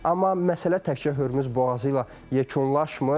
Amma məsələ təkcə Hürmüz boğazı ilə yekunlaşmır.